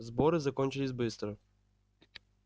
сборы закончились быстро